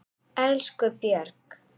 Elsku Björg.